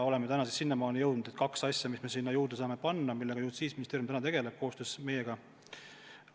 Nüüdseks oleme siiamaani jõudnud, et on kaks asja, mis me sinna juurde saame panna ja millega Justiitsministeerium koostöös meiega tegeleb.